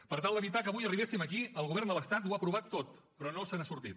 per tal d’evitar que avui arribéssim aquí el govern de l’estat ho ha provat tot però no se n’ha sortit